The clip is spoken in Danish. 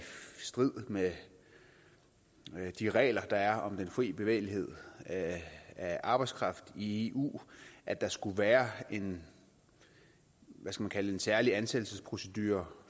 strid med de regler der er om den fri bevægelighed af af arbejdskraft i eu at der skulle være en særlig ansættelsesprocedure